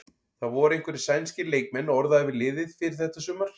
Það voru einhverjir sænskir leikmenn orðaðir við liðið fyrir þetta sumar?